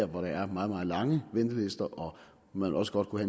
hvor der er meget meget lange ventelister og hvor man også godt kunne